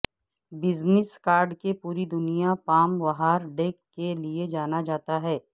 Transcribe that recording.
business card کے پوری دنیا پام وہار ڈیک کے لئے جانا جاتا ہے